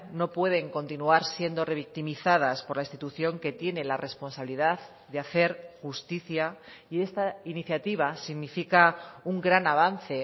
no pueden continuar siendo revictimizadas por la institución que tiene la responsabilidad de hacer justicia y esta iniciativa significa un gran avance